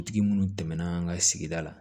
Dugutigi munnu tɛmɛnna an ka sigida la